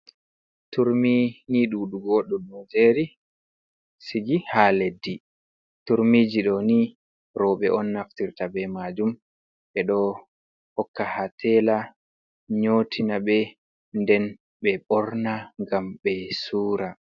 Turmi ni dudugo ɗum ɗo jeri sigi ha leddi, turmiji ɗo ni robe on naftirta be majum ɓe ɗo hokka ha tela nyotina ɓe, nden be ɓorna gam ɓe sura.,